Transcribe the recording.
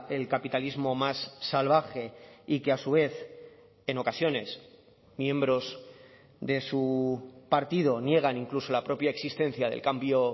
el capitalismo más salvaje y que a su vez en ocasiones miembros de su partido niegan incluso la propia existencia del cambio